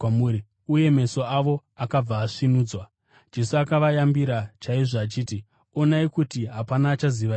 Uye meso avo akabva asvinudzwa. Jesu akavayambira chaizvo achiti, “Onai kuti hapana achazviziva izvi.”